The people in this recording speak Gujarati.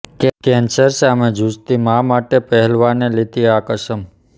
કેન્સર સામે ઝૂઝતી મા માટે પહેલવાને લીધી આ કસમ